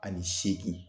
Ani seegin